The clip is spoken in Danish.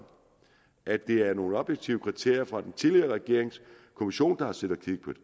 at det er efter nogle objektive kriterier fra den tidligere regerings kommission der har siddet og